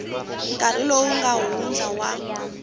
nkarhi lowu nga hundza wa